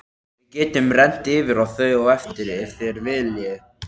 Við getum rennt yfir þau á eftir ef þér viljið.